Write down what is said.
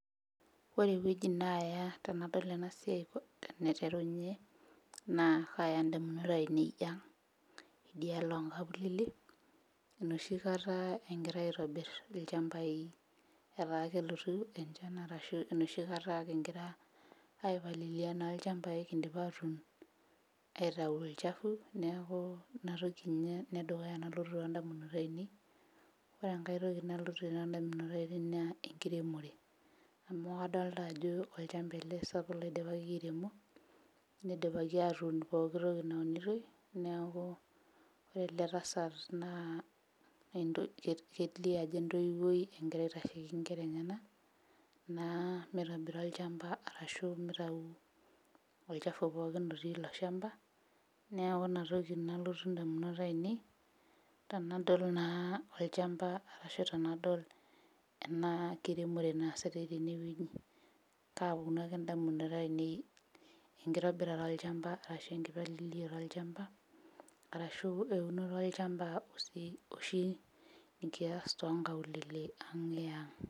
Ore ewueji naaya tenadol ena siai enaiterunye naa kaaya indamunot ainei ang' idialo onkaulele enoshi kata engirae aitobirr ilchambai etaa kelotu enchan arashu enoshi kata king'ira aipalilia naa ilchambai kindipa atuun aitau ilchafu neeku inatoki ninye enedukuya nalotu tondamunot ainei ore enkae toki nalotu tondamunot ainei naa enkiremore amu kadolta ajo olchamba ele sapuk loidipaki airemo nidipaki atuun pokitoki naunitoi neaku ore ele tasat naa ento kelio ajo entoiwuoi engira aitasheki inkera enyenak naa mitobira olchamba arashu mitau olchafu pookin otii ilo shamba neeku inatoki nalotu indamunot ainei tanadol naa olchamba arashu tenadol ena kiremore naasitae tenewueji kaaponu ake indamunot ainei enkitobirata olchamba arashu enkipaliliata olchamba arashu eunoto olchamba osi oshi nikiyas tonkaulele ang' e ang'.